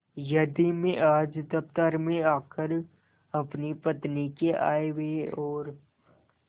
यदि मैं आज दफ्तर में आकर अपनी पत्नी के आयव्यय और